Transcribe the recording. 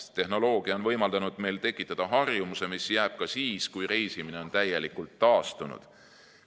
Tehnoloogia on võimaldanud meil tekitada harjumuse, mis jääb ka siis, kui reisimine on täielikult taastunud.